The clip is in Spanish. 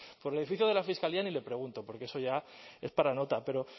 por el edificio de la fiscalía ni le pregunto porque eso ya es para nota pero